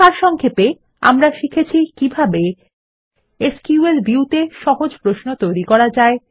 সারসংক্ষেপে আমরা শিখেছি কিভাবে এসকিউএল ভিউ তে সহজ প্রশ্ন তৈরি করা যায়